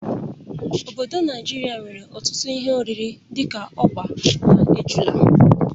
Obodo Naijiria nwere ọtụtụ ihe oriri dị ka ọgba na ejula.